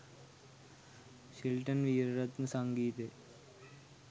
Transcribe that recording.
Shelton Weeraratne සංගීතය